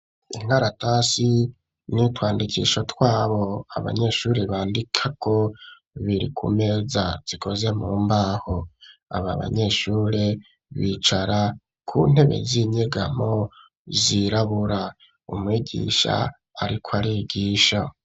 Inkaratasi n'utwandikisho twabo abanyeshure bandikako, biri ku meza zikoze mu mbaho. Aba banyeshure bicara ku ntebe z'inyegamo zirabura. Umwigisha ariko arigisha.